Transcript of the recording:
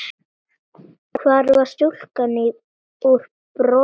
Hvar var stúlkan úr Brokey?